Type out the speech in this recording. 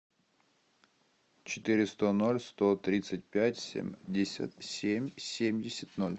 четыреста ноль сто тридцать пять семьдесят семь семьдесят ноль